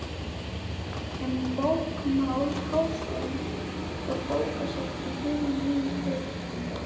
Um bókamál Háskólans og bókasafn í hinni nýju byggingu.